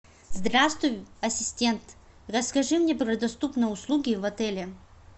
здравствуй ассистент расскажи мне про доступные услуги в отеле